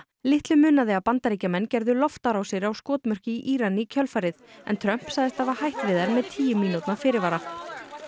litlu munaði að Bandaríkjamenn gerðu loftárásir á skotmörk í Íran í kjölfarið en Trump sagðist hafa hætt við þær með tíu mínútna fyrirvara